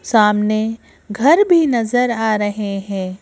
सामने घर भी नजर आ रहे हैं।